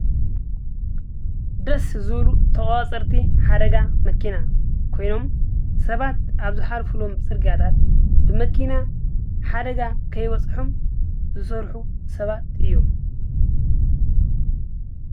ደስ ዝብሉ ተቆፃፀርቲ ሓደጋ መኪና ኮይኖም፤ ሰባት አብ ዝሓልፍሎም ፅርግያታት ብመኪና ሓደጋ ከይበፅሖም ዝሰርሑ ሰባት እዮም፡፡